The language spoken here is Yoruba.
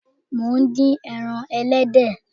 Mo ń dín ẹran ẹlẹ́dẹ̀